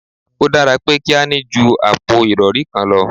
O dára pé kí a ní ju àpò ìrọri kan lọ